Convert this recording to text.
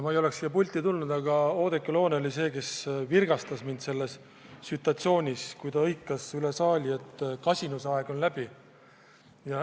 Ma ei oleks siia pulti tulnud, aga selleks virgutas mind Oudekki Loone, kui ta hõikas üle saali, et kasinusaeg on läbi.